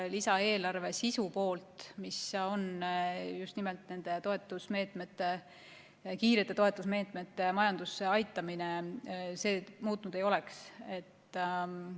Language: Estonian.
Lisaeelarve sisu poolt, mis on just nimelt nende kiirete toetusmeetmete majandusse aitamine, see muutnud ei oleks.